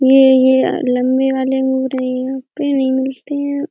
ये यह लम्बे वाले अंगूर हैं यहाँ पे नहीं मिलते हैं।